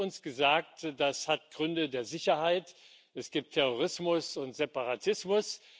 Es wird uns gesagt Das hat Gründe der Sicherheit, es gibt Terrorismus und Separatismus.